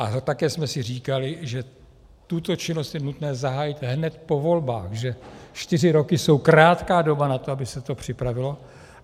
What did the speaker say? A také jsme si říkali, že tuto činnost je nutné zahájit hned po volbách, že čtyři roky jsou krátká doba na to, aby se to připravilo.